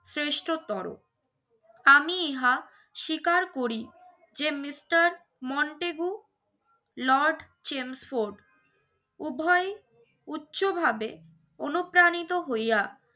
শ্রেষ্ঠতর। আমি ইহা স্বীকার করি যে mister মন্তেগু, লর্ড জেমস ফুড উভয় উচ্চভাবে অনুপ্রাণিত হইয়া